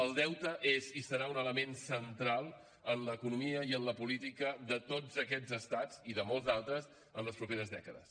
el deute és i serà un element central en l’economia i en la política de tots aquests estats i de molts d’altres en les properes dècades